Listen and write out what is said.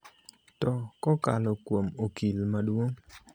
to kokalo kuom Okil Maduong'.